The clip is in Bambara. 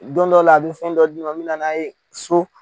Don dɔ la a bɛ fɛn dɔ di ne ma m bɛ nana ye so.